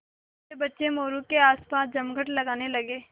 छोटे बच्चे मोरू के आसपास जमघट लगाने लगे